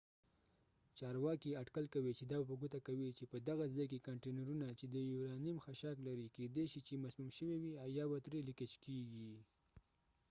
چارواکي اټکل کوي چې دا په ګوته کوي چې په دغه ځای کې کانټینرونه چې د یورانیم خشاک لري کيدې شي چې مسموم شوي وي او یا به ترې ليکيج کيږي